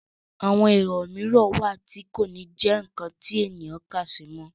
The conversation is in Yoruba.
àwọn èwọ̀ mìíràn wà tí kò ní jẹ́ ǹkan tí èèyàn ń kàsí mọ́